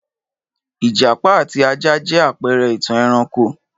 Ìjàpá àti ajá jẹ́ àpẹrẹ ìtàn ẹranko